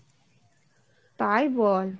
তাই বল,